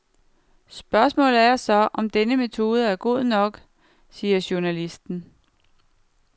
Spørgsmålet er så, om denne metode er god nok, siger journalisten.